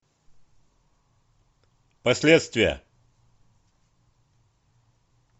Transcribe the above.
последствия